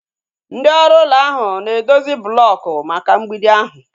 Ndị ọrụ ụlọ ahụ na edozi blooku maka mgbidi ahu